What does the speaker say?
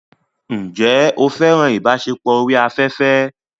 Ǹjẹ́ o fẹ́ràn ìbáṣepọ̀ orí afẹ́fẹ́?